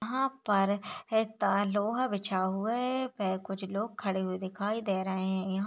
यहाँ पर एक पा लोहा बिछा हुआ है पे कुछ लोग खड़े हुए दिखाई दे रहे है यहाँ--